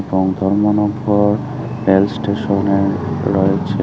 মানব্বর rail স্টেশনে রয়েছে।